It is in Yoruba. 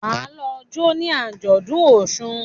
Ma lọ jo ní Ajọdun òsùn